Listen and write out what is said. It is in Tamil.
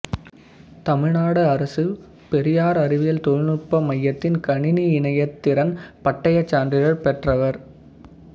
தமிழ்நாடு அரசு பெரியார் அறிவியல் தொழில்நுட்ப மையத்தின் கணினி இணையத்திறன் பட்டயச் சான்றிதழ் பெற்றவர்